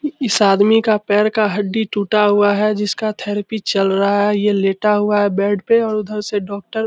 इ इस आदमी का पैर का हड्डी टूटा हुआ है जिसका थेरेपी चल रहा है ये लेटा हुआ है बेड पे और उधर से डॉक्टर --